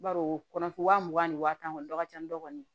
Baro o kɔnɔ wa mugan ni wa tan kɔni dɔ ka ca ni dɔ kɔni ye